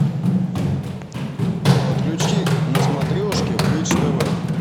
подключи на смотрешке бридж тв